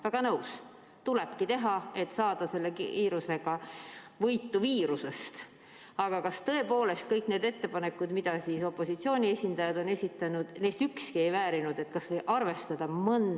Väga nõus, tulebki teha, et saada selle kiirusega viirusest võitu, aga kas tõepoolest kõikidest nendest ettepanekutest, mida opositsiooni esindajad on esitanud, ükski ei väärinud?